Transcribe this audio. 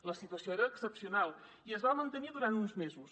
la situació era excepcional i es va mantenir durant uns mesos